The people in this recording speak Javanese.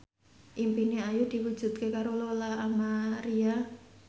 impine Ayu diwujudke karo Lola Amaria